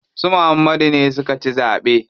Su Muhammadu ne suka ci zaɓe.